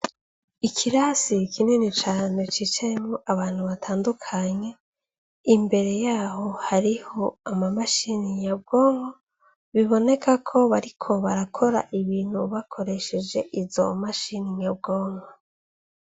Ikirasi kinini cane cicayemwo abantu batandukanye imbere yaho hariho ama mashini nyabwonko, biboneka ko bariko barakora ivyo bintu bakoresheje izo mashini nyabwonko.